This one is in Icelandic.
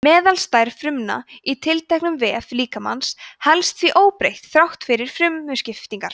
meðalstærð frumna í tilteknum vef líkamans helst því óbreytt þrátt fyrir frumuskiptingar